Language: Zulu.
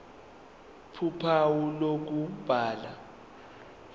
ph uphawu lokubhala